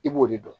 I b'o de dɔn